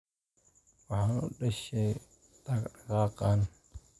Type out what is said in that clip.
Waxaan u dhashay dhaqdhaqaaqan.